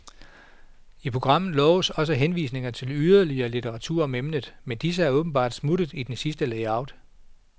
I programmet loves også henvisninger til yderligere litteratur om emnet, men disse er åbenbart smuttet i det sidste layout.